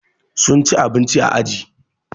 Sun ci abinci a aji